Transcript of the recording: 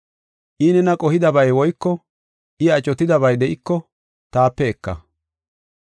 I nena qohidabay woyko I acotidabay de7iko taape eka.